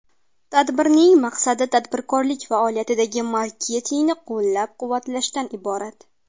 Tadbirning maqsadi tadbirkorlik faoliyatida marketingni qo‘llab-quvvatlashdan iborat.